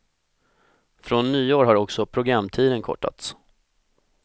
Från nyår har också programtiden kortats.